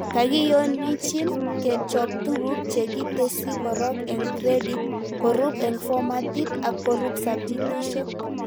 Kakiyonichin kechob tuguk chekitesyi korok eng gradit, korub eng formatit ak korub subjectishek